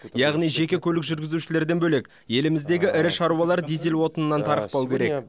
яғни жеке көлік жүргізушілерден бөлек еліміздегі ірі шаруалар дизель отынынан тарықпау керек